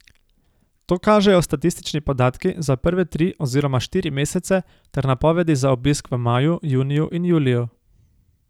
To kažejo statistični podatki za prve tri oziroma štiri mesece ter napovedi za obisk v maju, juniju in juliju.